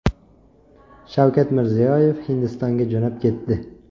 Shavkat Mirziyoyev Hindistonga jo‘nab ketdi.